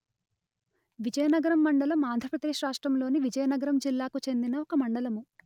విజయనగరం మండలం ఆంధ్ర ప్రదేశ్ రాష్ట్రములోని విజయనగరం జిల్లాకు చెందిన ఒక మండలము